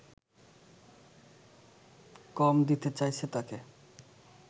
কম দিতে চাইছে তাকে